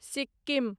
Sikkim